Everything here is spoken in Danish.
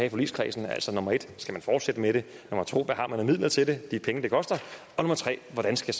i forligskredsen altså nummer 1 skal man fortsætte med det nummer 2 hvad har man af midler til det de penge det koster og nummer 3 hvordan skal